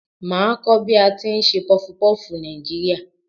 Màá a kó bí a ti n se pufupúfù Nàìjíríà